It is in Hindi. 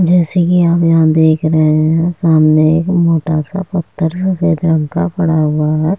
जैसे की आप यहाँ देख रहे हैं सामने एक मोटा सा पत्थर सफेद रंग का पड़ा हुआ है।